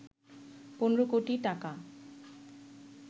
১৫ কোটি টাকা